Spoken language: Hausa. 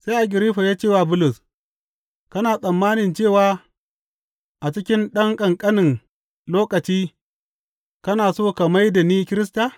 Sai Agiriffa ya ce wa Bulus, Kana tsammani cewa a cikin ɗan ƙanƙanin lokaci kana so ka mai da ni Kirista?